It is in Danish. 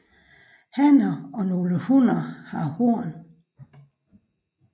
Hanner og nogle hunner har horn